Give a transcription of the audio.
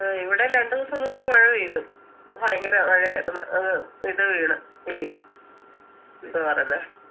ആ ഇവിടെയും രണ്ട് ദിവസം മുമ്പ് മഴ പെയ്ത് ഭയങ്കര മഴയര്ന്ന് അഹ് ഇത് വീണ് ഈ എന്തോആ പറയുന്നെ